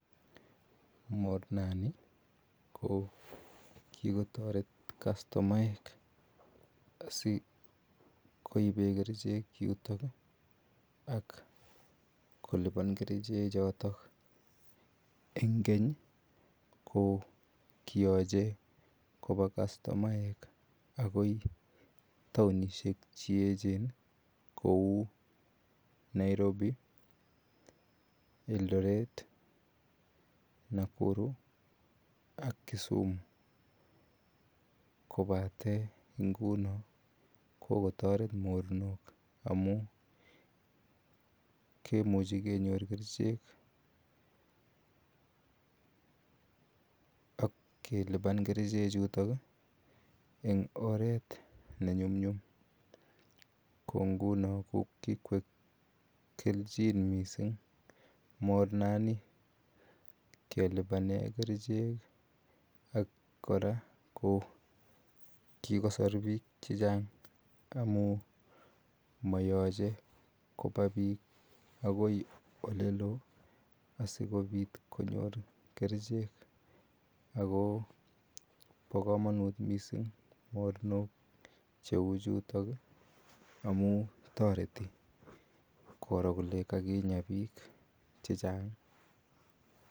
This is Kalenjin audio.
Mornet nii ko kikotaret customaek asikoibeen kercheek yutoon ak kolupaan Kerchek chotoon eng keeny ko kiyachei koba customaek akoot taunisheek che eecheen akoi Nairobi, Eldoret, Nakuru ak Kisumu kobateen nguni ko kikotaret mornook amuun kemuchei kenyoor kercheek ak kelupjaan kercheek chutoon ii eng oret ne ne nyumnyum ko nguno ko kikoek kelchin missing morneet ni kelupaneen kercheek ii ak kora ko kikoser biik che chaang amuun mayachei kobaa biik akoib ole loo asikobiit konyoor kercheek ako bo kamanut missing mornok che uu chutoon amuun kere kole kakinyaa biik che chaang.